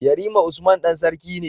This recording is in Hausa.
Yarima usman Dan sarki ne